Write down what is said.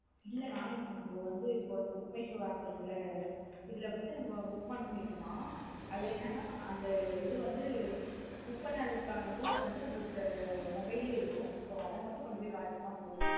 இல்ல நா இப்போ நம்மோ வந்து book my show app இருக்குல. இதுல வந்து நம்ம book பண்ணிடோன. அது என்ன நா அந்த இது வந்து book பண்ணது காண proof வந்து நம்ம கிட்ட mobile லே இருக்கும். So அத மட்டும் கொண்டு போய் காட்னாலே போதும்.